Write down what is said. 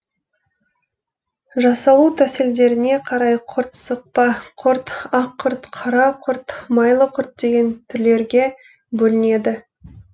жасалу тәсілдеріне қарай құрт сықпа құрт ақ құрт қара құрт майлы құрт деген түрлерге бөлінеді